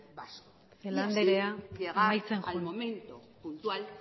vasco celaá anderea amaitzen joan y así llegar al momento puntual